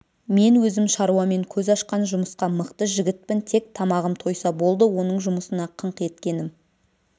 мен өзім шаруамен көз ашқан жұмысқа мықты жігітпін тек тамағым тойса болды оның жұмысына қыңқ еткенім